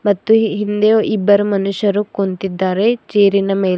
ಮತ್ತು ಹಿಂದೆ ಇಬ್ಬರು ಮನುಷ್ಯರು ಕೂತಿದ್ದಾರೆ ಚೇರಿನ ಮೇಲೆ--